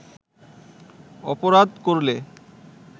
অপরাধ করলে